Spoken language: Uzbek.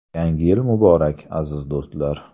Yangi yil muborak, aziz do‘stlar!